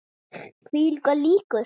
Kvikar líkur.